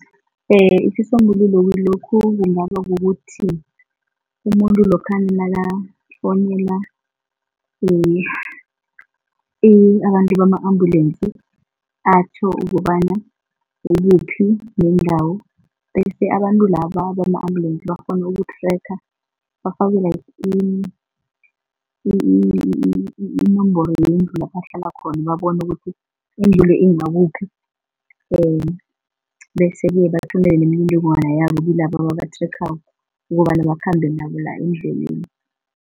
Isisombululo kilokhu kungaba kukuthi umuntu lokha nakafonela abantu bama-ambulence atjho ukobana ukuphi nendawo, bese abantu laba bama-ambulance bakghone uku-tracker, bafake iinomboro yendlu lapha ahlala khona, babone ukuthi indlu le ingakuphi. Bese bathumela imininingwana yabo kilaba aba-tracker ukobana bakhambe nabo la endleleni.